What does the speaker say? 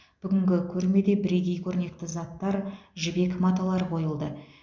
бүгінгі көрмеде бірегей көрнекті заттар жібек маталар қойылды